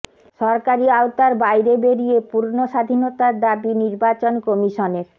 সরকারি আওতার বাইরে বেরিয়ে পূর্ণ স্বাধীনতার দাবী নির্বাচন কমিশনের